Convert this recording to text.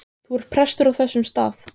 Þú ert prestur á þessum stað.